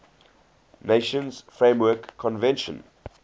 nations framework convention